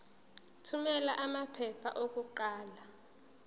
thumela amaphepha okuqala